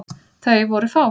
Þau voru fá.